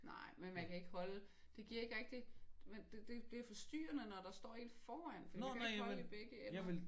Nej men man kan ikke holde. Det giver ikke rigtig. Det det bliver forstyrrende når der står en foran for man kan ikke holde i begge ender